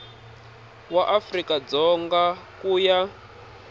wa afrika dzonga ku ya